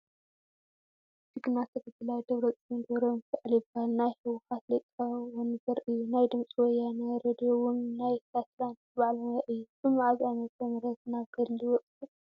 ጅግና ተጋዳላይ ደ/ር ደብረፅዮን ገብረሚካኤል ይባሃል ናይ ሕዋሓት ሊቀወንበር እዩ። ናይ ድምፂ ወያነ ሬድዮ እውን ናይ ሳትላትን ባዓል ሞያ እዩ። ብመዓዝ ዓመተ ምህረት ናብ ገድሊ ወፂኡ?